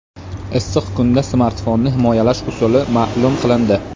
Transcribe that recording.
Issiq kunda smartfonni himoyalash usuli ma’lum qilindi.